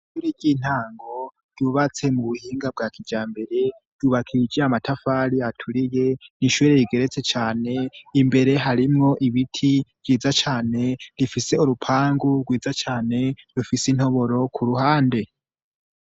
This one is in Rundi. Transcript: ishure ry'intango ryubatse mu buhinga bwa kijambere ryubakishijwe amatafari aturiye nishure rigeretse cane imbere harimwo ibiti vyiza cane rifise urupangu rwiza cane rufise intoboro ku ruhande